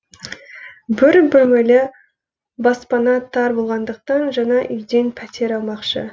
бір бөлмелі баспана тар болғандықтан жаңа үйден пәтер алмақшы